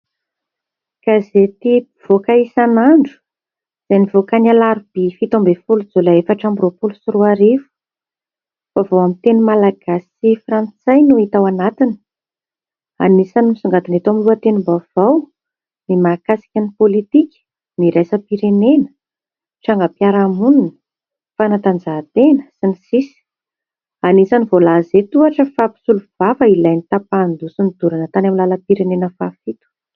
Gazetim-pivoaka isan'andro izay nivoaka ny Alarobia faha fito ambin'ny folo Jolay efatra amby roapolo amby roarivo. Vaovao amin'ny teny Malagasy sy Frantsay no hita ao anatiny ; anisany misongadina eto amin'ny lohatenim-baovao ny mahakasika ny politika iraisam-pirenena ,trangam-piarahamonina, fanatanjahatena sy ny sisa. Anisany voalaza eto ohatra fa mpisolovava ilay ny tapahin-doha sy nodorana tany amin'ny lalam-pirenena fahafito.